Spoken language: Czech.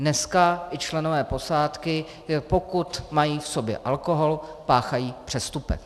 Dneska i členové posádky, pokud mají v sobě alkohol, páchají přestupek.